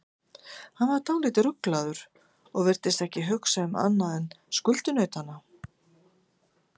Hann var dálítið ruglaður og virtist ekki hugsa um annað en skuldunautana.